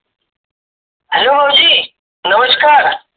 Hello भाऊजी नमस्कार.